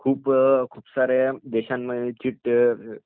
खुपसाऱ्या देशांची